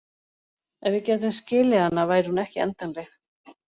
Ef við gætum skilið hana væri hún ekki endanleg.